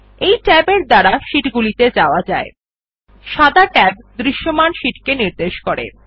এই ট্যাব এর দ্বারা শীট গুলিত়ে যাওয়া যায় সাদা ট্যাব দৃশ্যমান শীটকে নির্দেশ করে